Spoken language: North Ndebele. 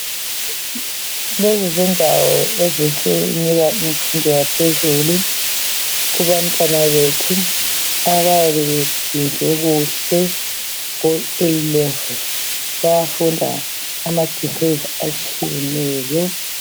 Lezi zindawo ezisinika imfundo yaphezulu kubantwana bethu abayabe beyenze kuhle ku A'level, bayafunda ama degrees atshiyeneyo.